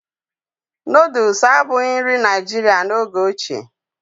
Nooduls abụghị nri Naijiria n'oge ochie